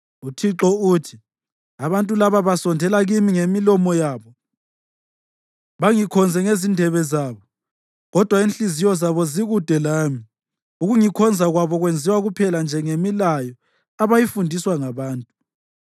UThixo uthi: “Abantu laba basondela kimi ngemilomo yabo bangikhonze ngezindebe zabo, kodwa inhliziyo zabo zikude lami; ukungikhonza kwabo kwenziwa kuphela nje ngemilayo abayifundiswa ngabantu.